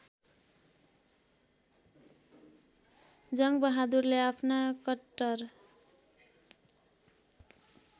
जङ्गबहादुरले आफ्ना कट्टर